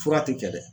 Fura tɛ kɛ dɛ